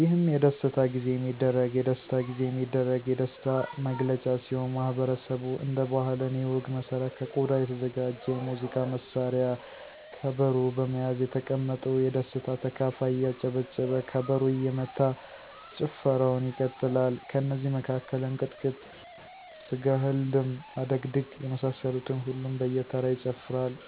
የህም የደስታጊዜ የሚደረግ የደሥታ ጊዜየሚደረግ የደሥታ ነግለጫ ሲሆን ማህበረሠቡ እንደ ባህለ እኔ ወግ መሠረት ከቆዳ የተዘጋጀ የሙዚቃ መሳሪያ ከበሮ በመያዝ የተቀመጠው የደስታ ተካፋይ እያጨበጨበ ከበሮ እየመታ ጭፈረዉን ይቀጥላል። ከነዚ መካከል እንቅጥቅጥ፣ ስገሐልድም፣ አደግድግ የመሳሰሉትን ሁሉም በየተራ ይጨፍራሉ።